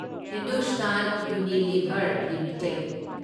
Hindustan Unilever limited